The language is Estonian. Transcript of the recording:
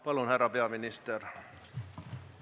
Palun, härra peaminister!